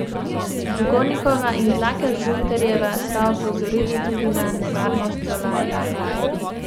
Dugonikova in Tlaker Žunterjeva sta opozorili tudi na nevarnost solarija.